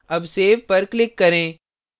अब सेव पर click करें